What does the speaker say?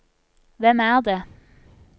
hvem er det